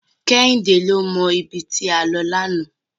Kẹ́hìndé ló mọ ibi tí a lọ lánàá.